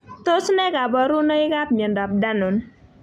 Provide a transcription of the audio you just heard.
Tos ne kaborunoikab miondop danon?